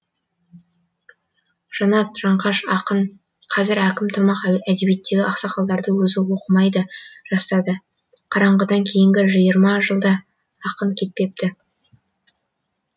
жанат жанқаш ақын қазір әкім тұрмақ әдебиеттегі ақсақалдардың өзі оқымайды жастарды қараңғыдыдан кейінгі жиырма жылда ақын кетпепті